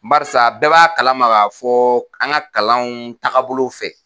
Barisa bɛɛ b'a kalama ka fɔ an ka kalanw tagabolow fɛ